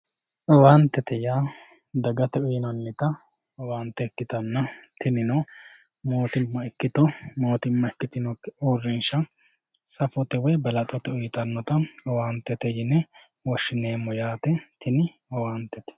owaantete yaa dagate uyiinannita owaante ikkitanna tinino mootimma ikkito motimma ikitinokki uurinsha safote woy balaxote uyiitanota owaantete yine woshshineemo yaate tini owaantete.